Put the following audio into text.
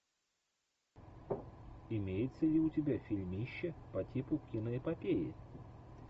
имеется ли у тебя фильмище по типу киноэпопеи